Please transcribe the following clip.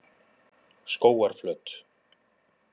Skógarflöt